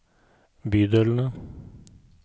bydelene